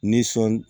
Ni sɔn